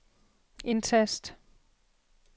indtast